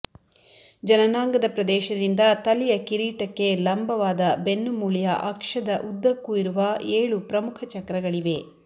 ಜನನಾಂಗದ ಪ್ರದೇಶದಿಂದ ತಲೆಯ ಕಿರೀಟಕ್ಕೆ ಲಂಬವಾದ ಬೆನ್ನುಮೂಳೆಯ ಅಕ್ಷದ ಉದ್ದಕ್ಕೂ ಇರುವ ಏಳು ಪ್ರಮುಖ ಚಕ್ರಗಳಿವೆ